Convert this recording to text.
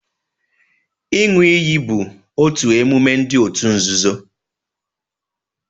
Ịṅụ iyi bụ otu emume ndi òtù nzuzo